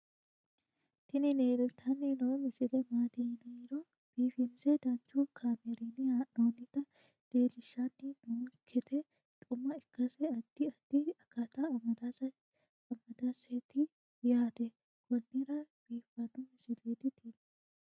tini leeltanni noo misile maaati yiniro biifinse danchu kaamerinni haa'noonnita leellishshanni nonketi xuma ikkase addi addi akata amadaseeti yaate konnira biiffanno misileeti tini